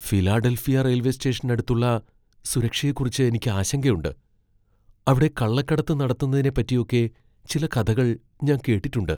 Philadelphia railway സ്റ്റേഷനടുത്തുള്ള സുരക്ഷയെക്കുറിച്ച് എനിക്ക് ആശങ്കയുണ്ട്, അവിടെ കള്ളക്കടത്ത് നടത്തുന്നതിനെപ്പറ്റിയൊക്കെ ചില കഥകൾ ഞാൻ കേട്ടിട്ടുണ്ട്.